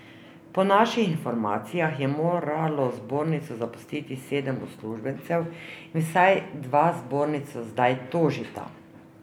Po naših informacijah je moralo zbornico zapustiti sedem uslužbencev in vsaj dva zbornico zdaj tožita.